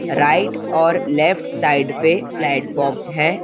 Right और left side पे platform है।